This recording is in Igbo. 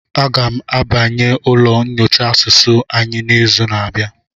A ga m abanye ụlọ nyocha asụsụ anyị n'izu na-abịa.